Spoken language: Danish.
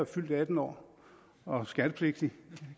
fyldt atten år og er skattepligtig